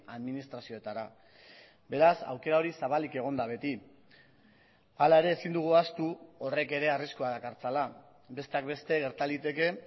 administrazioetara beraz aukera hori zabalik egon da beti hala ere ezin dugu ahaztu horrek ere arriskua dakartzala besteak beste gerta liteke